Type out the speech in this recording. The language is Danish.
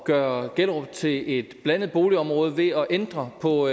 gøre gellerup til et blandet boligområde ved at ændre på